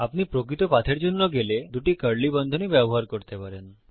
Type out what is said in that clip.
আপনি প্রকৃত পাথের জন্য গেলে দুটি কার্লি বন্ধনী ব্যবহার করতে পারেন